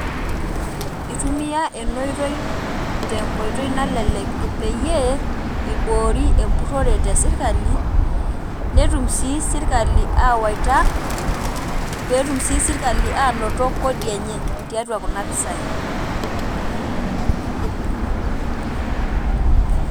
Itumia ena oitoi tenkoitoi nalelek peyie iboori empurrore tesirkali netum sii sirkali aawaita pee etum sii sirkali aanoto kodi enye tiatua kuna pisaai.